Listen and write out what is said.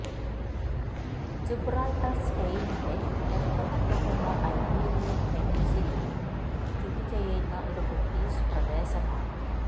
Gibraltar സ്പെയ്നിന്റെ തെക്കൻ അറ്റത്തുള്ള ഐബീരിയൻ പെനിൻസുലയിൽ സ്ഥിതിചെയ്യുന്ന ഒരു ബ്രിട്ടീഷ് വിദേശ പ്രദേശമാണ്